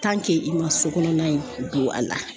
i ma so kɔnɔna in don a la